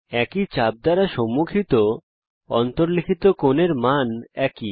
একই চাপ দ্বারা সম্মুখিত অন্তর্লিখিত কোণের মান একই